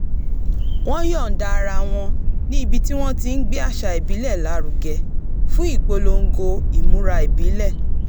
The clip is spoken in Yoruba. wọ́n yọ̀ǹda ara wo̩n ní ibi tí wọ́n ti ń gbé àṣà ìbílẹ̀ lárugẹ fún ìpolongo imura ìbílè̩